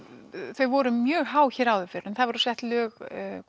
þau voru mjög há hér áður fyrr en það voru sett lög